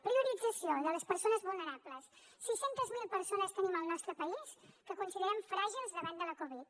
priorització de les persones vulnerables sis cents miler persones tenim al nostre país que considerem fràgils davant de la covid